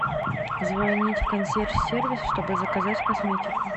звонить консьерж сервис чтобы заказать косметику